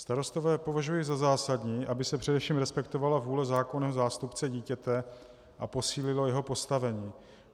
Starostové považují za zásadní, aby se především respektovala vůle zákonného zástupce dítěte a posílilo jeho postavení.